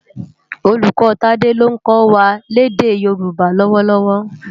Ólúkò Tade ló nkò wá lèdè Yoruba lòwòlòwò